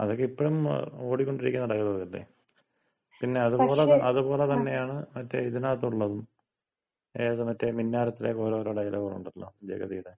അതൊക്ക ഇപ്പഴും ഓടിക്കൊണ്ടിരിക്കുന്ന ഡയലോഗല്ലെ. പിന്ന അത്പോലെ തന്ന, അത്പോല തന്നയാണ് മറ്റേ ഇതിനകത്തൊള്ളതും. ഏത് മറ്റേ മിന്നാരത്തിലെ ഓരോ ഓരോ ഡയലോഗ് ഒണ്ടല്ലോ, ജഗതിടെ.